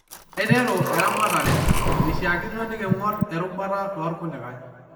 Aiteru eramatare, meshiakino nekingor erubata toorkulikae.